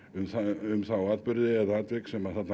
um um þá atburði eða þau atvik sem